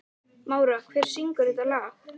Mára, hver syngur þetta lag?